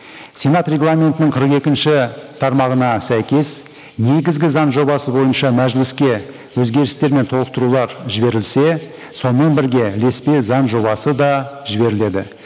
сенат регламентінің қырық екінші тармағына сәйкес негізгі заң жобасы бойынша мәжіліске өзгерістер мен толықтырулар жіберілсе сонымен бірге ілеспе заң жобасы да жіберіледі